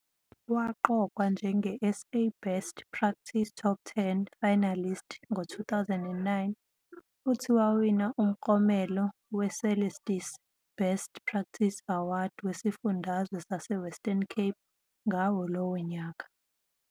Waqokwa njenge-SA Best Practice Top 10 Finalist ngo-2009 futhi wawina umklomelo weCelestis Best Practice Award wesiFundazwe saseWestern Cape ngawo lowo nyaka